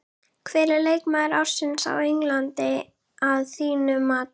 Hver er leikmaður ársins á Englandi að þínu mati?